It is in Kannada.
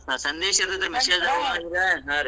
ಹೌದ್ ಸಂದೇಶ್ ಹಾ ರೀ .